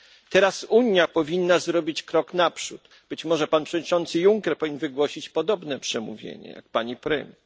Teraz Unia powinna zrobić krok naprzód. Być może pan przewodniczący Juncker powinien wygłosić podobne przemówienie jak pani premier.